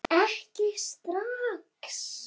Ekki strax!